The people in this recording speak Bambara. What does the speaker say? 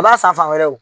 I b'a san fan wɛrɛw